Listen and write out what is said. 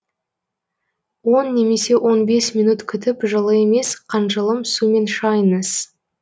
он немесе он бес минут күтіп жылы емес қанжылым сумен шайыңыз